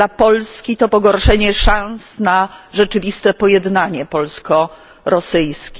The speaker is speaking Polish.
Dla Polski to pogorszenie szans na rzeczywiste pojednanie polsko rosyjskie.